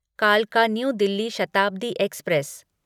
कालका new Delhi Shatabdi express